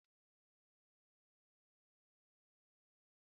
Ìsì saidin anaghị amasị m